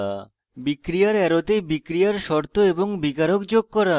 বিক্রিয়ার অ্যারোতে বিক্রিয়ার শর্ত এবং বিকারক যোগ করা